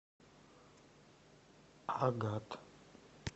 агат